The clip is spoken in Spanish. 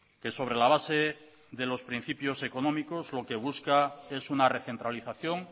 que sobre la base de los principios económicos lo que busca es una recentralización